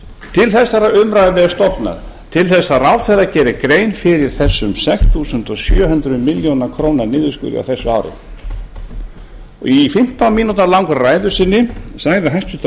til þessarar umræðu er stofnað til að ráðherra geri grein fyrir þessum sex þúsund sjö hundruð milljóna króna niðurskurði á þessu ári í fimmtán mínútna langri ræðu sinni sagði hæstvirtur